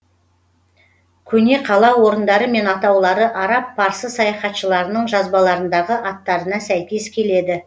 көне қала орындары мен атаулары араб парсы саяхатшыларының жазбаларындағы аттарына сәйкес келеді